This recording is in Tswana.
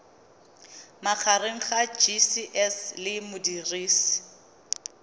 magareng ga gcis le modirisi